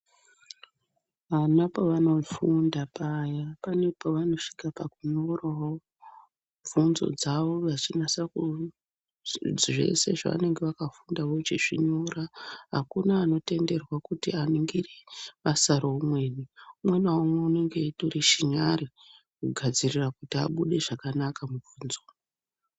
Vana pavanofunda paya pane pavanosvika pakunyorawa bvunzo dzavo zviro zveshe zvavanenge vakafunda vochizvinyora akuna anotenderwa kuti aningire basa reumweni umwe naumwe unenge itori shinyari kugadzirira kuti abude zvakanaka mubvunzo.